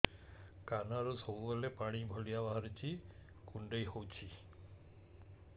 କାନରୁ ସବୁବେଳେ ପାଣି ଭଳିଆ ବାହାରୁଚି କୁଣ୍ଡେଇ ହଉଚି